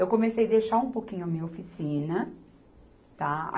Eu comecei deixar um pouquinho a minha oficina, tá.